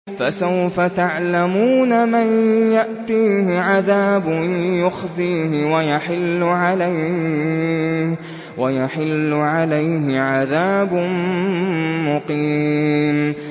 فَسَوْفَ تَعْلَمُونَ مَن يَأْتِيهِ عَذَابٌ يُخْزِيهِ وَيَحِلُّ عَلَيْهِ عَذَابٌ مُّقِيمٌ